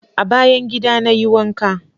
A bayan gida na yi wanka.